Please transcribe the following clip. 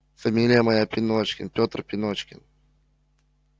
фамилия моя пеночкин петр пеночкин